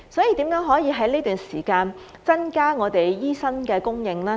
如何可以在這段時間增加醫生的供應？